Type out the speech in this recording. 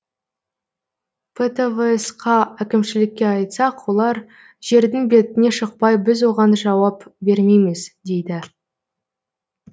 птвс қа әкімшілікке айтсақ олар жердің бетіне шықпай біз оған жауап бермейміз дейді